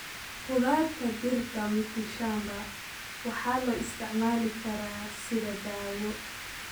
Khudaarta dhirta mitishamba waxaa loo isticmaali karaa sidii daawo.